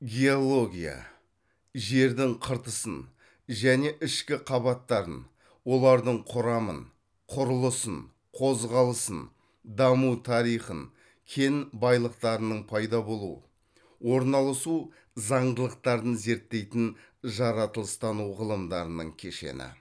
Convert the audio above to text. геология жердің қыртысын және ішкі қабаттарын олардың құрамын құрылысын қозғалысын даму тарихын кен байлықтарының пайда болу орналасу заңдылықтарын зерттейтін жаратылыстану ғылымдарының кешені